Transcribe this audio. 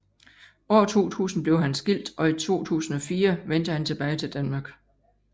År 2000 bliver han skilt og i 2004 vendte han tilbage til Danmark